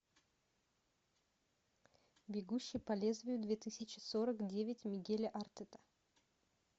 бегущий по лезвию две тысячи сорок девять мигеля артета